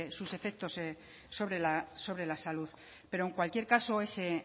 sus efectos sobre la salud pero en cualquier caso ese